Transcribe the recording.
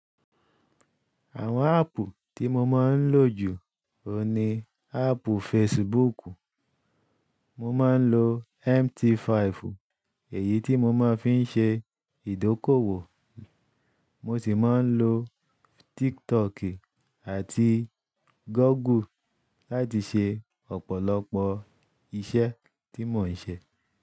Àwọn áàpù tí mo máa ń lò jù òní áàpù Facebook. Mo máa ń lo MT five, èyí tí mo máa ń fi ń ṣe ìdókòwò. Mo sì máa ń lo TikTok àti Google láti ṣe ọ̀pọ̀lọpọ̀ iṣẹ́ tí mò ń ṣe.